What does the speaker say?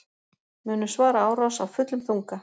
Munu svara árás af fullum þunga